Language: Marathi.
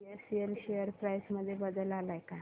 बीएसएल शेअर प्राइस मध्ये बदल आलाय का